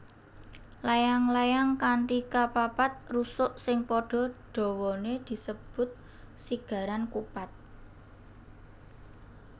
Layang layang kanthi kapapat rusuk sing padha dawané disebut sigaran kupat